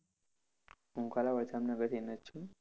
હું કાલાવડ જામનગરથી ને જ છું.